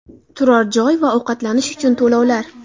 Turar joy va ovqatlanish uchun to‘lovlar.